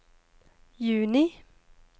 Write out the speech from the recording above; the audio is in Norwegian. juni